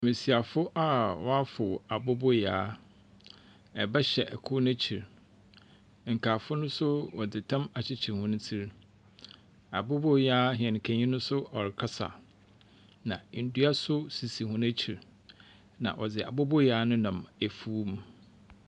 Mbesiafo a wɔafow aboboyaa. Ba hyɛ kor n'ekyir. Nkaafo no nso wɔdze tam akyekyer hɔn tsi. Aboboyaa hɛnkani no nso ɔrekasa, na ndua nso sisi hɔn ekyir, na wɔdze aboboyaa no nam efuw mu.